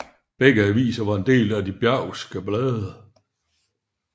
Begge aviser var en del af De Bergske Blade